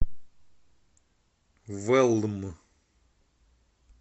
вэлм